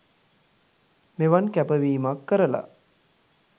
මෙවන් කැපවීමක් කරලා